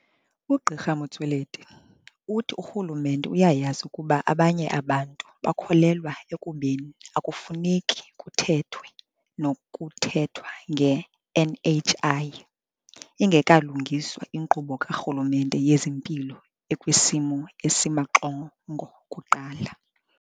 UGq Motsoaledi uthi urhulumente uyayazi ukuba abanye abantu bakholelwa ekubeni akufuneki kuthethwe nokuthethwa nge-NHI, ingekalungiswa inkqubo karhulumente yezempilo ekwisimo esimaxongo kuqala.